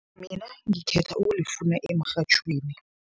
Mina ngikhetha ukulifuna emrhatjhweni.